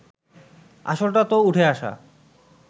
আসলটা তো উঠে আসা